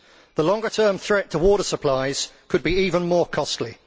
The longer term threat to water supplies could be even more costly.